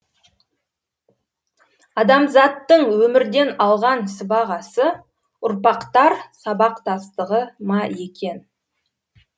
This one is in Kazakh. адамзаттың өмірден алған сыбағасы ұрпақтар сабақтастығы ма екен